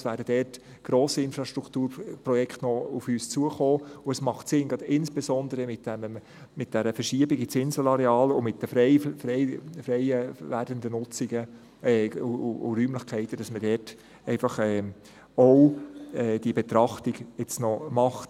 Es werden dort noch grosse Infrastrukturprojekte auf uns zukommen, und es macht Sinn – insbesondere mit dieser Verschiebung ins Inselareal und mit den freiwerdenden Nutzungen und Räumlichkeiten –, dass man dort einfach auch diese Betrachtung jetzt noch macht.